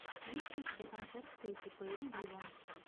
есть ли у тебя концерт кэти перри виво